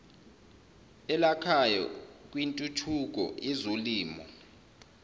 elakhayo kwintuthuko yezolimo